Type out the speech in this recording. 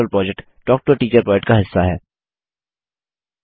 spoken tutorial project talk to a teacher project का हिस्सा है